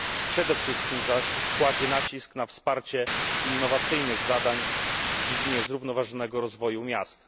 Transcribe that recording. Przede wszystkim zaś kładzie nacisk na wsparcie innowacyjnych zadań w dziedzinie zrównoważonego rozwoju miast.